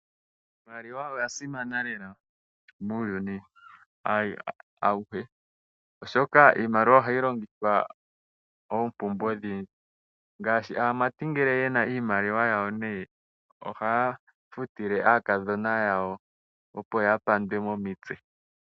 Iimaliwa oya simana lela muuyuni awuhe oshoka iimaliwa ohayi longithwa iinima oyindji ngaashi aamati shampa yena iimaliwa ohaya futile aakadhona yawo, opo yapandwe momitse.